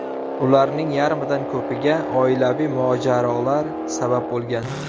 Ularning yarmidan ko‘piga oilaviy mojarolar sabab bo‘lgan.